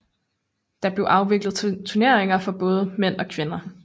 Der blev afviklet turneringer for både mænd og kvinder